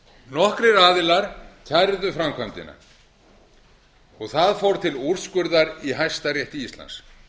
nokkrir aðilar kæru framkvæmdina það fór til úrskurðar í hæstarétti íslands